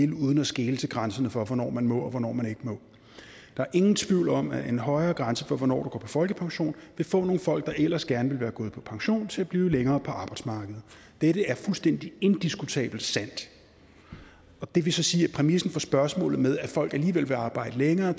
vil uden at skele til grænserne for hvornår man må og hvornår man ikke må der er ingen tvivl om at en højere grænse for hvornår du går på folkepension vil få nogle folk der ellers gerne ville være gået på pension til at blive længere på arbejdsmarkedet det er fuldstændig indiskutabelt sandt det vil så sige at præmissen for spørgsmålet at folk alligevel vil arbejde længere